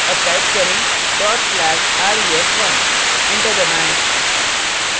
अब type करें dot slash ref1 enter दबाएँ